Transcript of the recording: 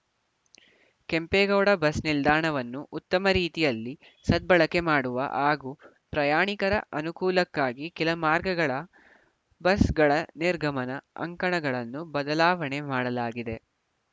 Kempegowda bus ನಿಲ್ದಾಣವನ್ನು ಉತ್ತಮ ರೀತಿಯಲ್ಲಿ ಸದ್ಬಳಕೆ ಮಾಡುವ ಹಾಗೂ ಪ್ರಯಾಣಿಕರ ಅನುಕೂಲಕ್ಕಾಗಿ ಕೆಲ ಮಾರ್ಗಗಳ ಬಸ್‌ಗಳ ನಿರ್ಗಮನ ಅಂಕಣಗಳನ್ನು ಬದಲಾವಣೆ ಮಾಡಲಾಗಿದೆ